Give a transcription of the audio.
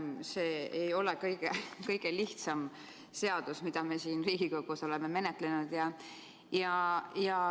See ei ole kõige lihtsam seadus meil siin Riigikogus menetleda.